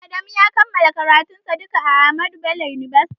Adamu ya kammala karatun sa a Ahmadu bello university